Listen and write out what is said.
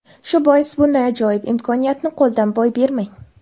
Shu bois, bunday ajoyib imkoniyatni qo‘ldan boy bermang.